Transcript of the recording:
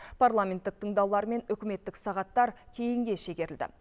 парламенттік тыңдаулар мен үкіметтік сағаттар кейінге шегерілді